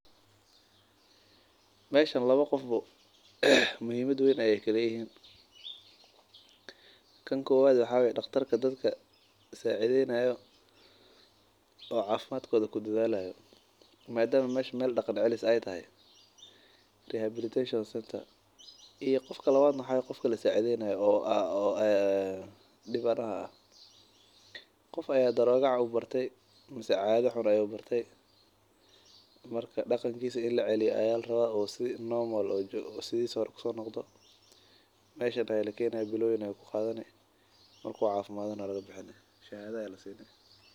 Meeshan laba qof muhimad weyn ayeey ku leeyihiin mida kowaad waa daqtarka dadka sacideyni haayo midka labaad waa kan kasacideyni haayo qof ayaa wax xun barte marka meeshan ayaa lakeeni marki uu cafimaado waa laga bixini shahada ayaa lasiini.